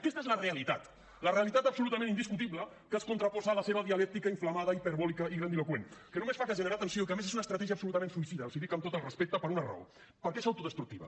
aquesta és la realitat la realitat absolutament indiscutible que es contraposa a la seva dialèctica inflamada hiperbòlica i grandiloqüent que només fa que generar tensió i que a més és una estratègia absolutament suïcida els hi dic amb tot el respecte per una raó perquè és autodestructiva